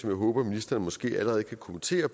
jeg håber ministeren måske allerede kan kommentere